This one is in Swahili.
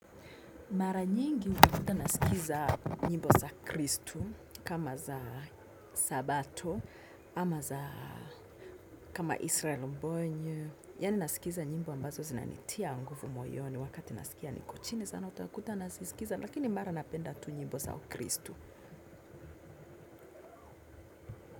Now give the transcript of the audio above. Mara nyingi wakuta nasikiliza nyimbo za kristu kama za sabato ama za kama israel mbonye. Yani nasikiza nyimbo ambazo zinanitia nguvu moyoni wakati nasikia ni kuchini sana utakuta nasikiza, lakini mara napenda tu nyimbo za ukristu.